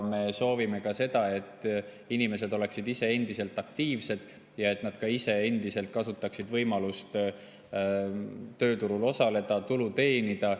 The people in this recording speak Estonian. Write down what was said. Me soovime, et inimesed oleksid ise aktiivsed ja et nad ka ise endiselt kasutaksid võimalust tööturul osaleda ja tulu teenida.